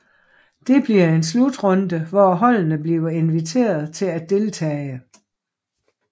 Det bliver en slutrunde hvor holdene blive inviteret til at deltage